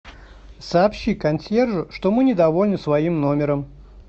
сообщи консьержу что мы недовольны своим номером